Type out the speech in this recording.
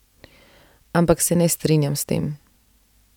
Ampak se ne strinjam s tem.